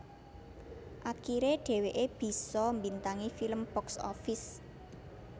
Akiré dheweké bisa mbintangi film box office